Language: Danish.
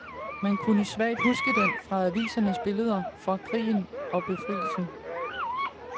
Man kunne svagt huske den fra avisernes billeder fra krigen og befrielsen.